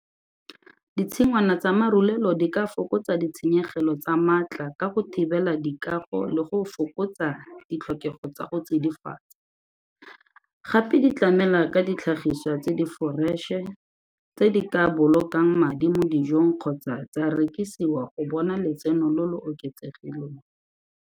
Ditshingwana tsa marulelo di ka fokotsa ditshenyegelo tsa maatla ka go thibela dikago le go fokotsa ditlhokego tsa go tsidifaditsa, gape di tlamela ka ditlhagiswa tse di foreše tse di ka bolokang madi mo dijong kgotsa tsa rekisiwa go bona letseno lo lo oketsegileng.